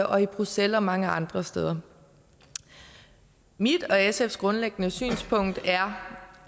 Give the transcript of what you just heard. og i bruxelles og mange andre steder mit og sfs grundlæggende synspunkt er